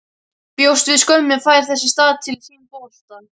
Bjóst við skömmum, fær þess í stað til sín bolta.